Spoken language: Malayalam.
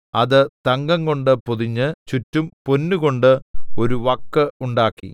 അത് തങ്കംകൊണ്ട് പൊതിഞ്ഞ് ചുറ്റും പൊന്നുകൊണ്ട് ഒരു വക്ക് ഉണ്ടാക്കി